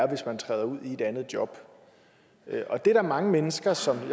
hvis man træder ud i et andet job og det er der mange mennesker som med